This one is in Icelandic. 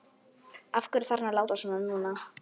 Af hverju þarf hann að láta svona núna?